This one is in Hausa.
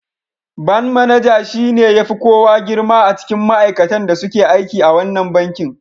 Ban manaja shi ne ya fi kowa girma a cikin ma'aikatan da suke aiki a wannan bankin.